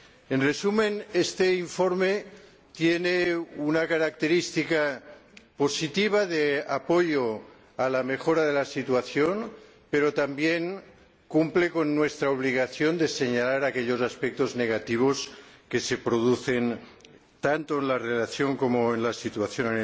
En resumen, este informe tiene una característica positiva de apoyo a la mejora de la situación, pero también cumple con nuestra obligación de señalar aquellos aspectos negativos que se producen, tanto en la relación con el país como en su situación.